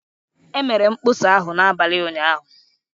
Emere mkpọsa ahụ n'abalị ụnyahụ